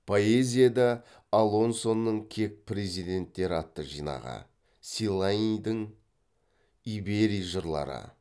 поэзияда алонсоның кек перзенттері атты жинағы селайидің иберий жырлары